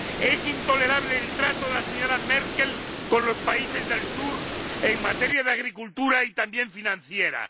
Es intolerable el trato de la señora Merkel a los países del sur en materia de agricultura, y también financiera.